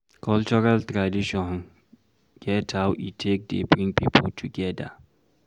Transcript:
Cultural tradition get how e take dey bring pipo together